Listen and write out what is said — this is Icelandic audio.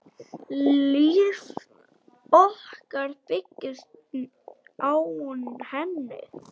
Líf okkar byggist á henni.